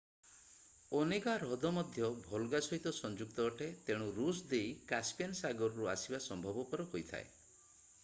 Onega ହ୍ରଦ ମଧ୍ୟ Volga ସହିତ ସଂଯୁକ୍ତ ଅଟେ ତେଣୁ ରୁଷ ଦେଇ କାସପିଆନ୍ ସାଗରରୁ ଆସିବା ସମ୍ଭବପର ହୋଇଥାଏ